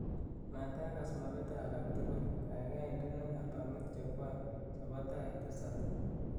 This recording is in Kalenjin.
Matagaas mopeto alak tugul gaigai indene albamit chekwai chebo tai tisap